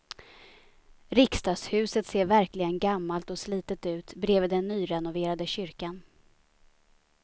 Riksdagshuset ser verkligen gammalt och slitet ut bredvid den nyrenoverade kyrkan.